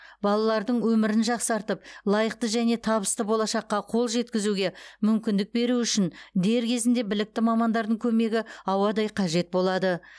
балалардың өмірін жақсартып лайықты және табысты болашаққа қол жеткізуге мүмкіндік беру үшін дер кезінде білікті мамандардың көмегі ауадай қажет болады